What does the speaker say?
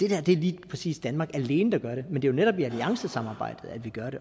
er det lige præcis danmark alene der gør men det er jo netop i alliancesamarbejdet at vi gør det